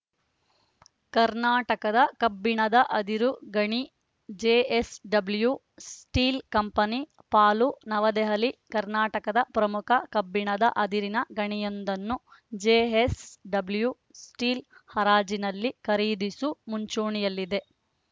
ಕರ್ನಾಟಕದ ಕಬ್ಬಿಣದ ಅದಿರು ಗಣಿ ಜೆಎಸ್‌ಡಬ್ಲ್ಯೂ ಸ್ಟೀಲ್‌ ಕಂಪನಿ ಪಾಲು ನವದೆಹಲಿ ಕರ್ನಾಟಕದ ಪ್ರಮುಖ ಕಬ್ಬಿಣದ ಅದಿರಿನ ಗಣಿಯೊಂದನ್ನು ಜೆಎಸ್‌ಡಬ್ಲ್ಯೂ ಸ್ಟೀಲ್‌ ಹರಾಜಿನಲ್ಲಿ ಖರಿದಿಸು ಮುಂಚೂಣಿಯಲ್ಲಿದೆ